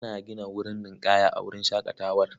Ana gina wurin ninƙaya a wurin shaƙatawar.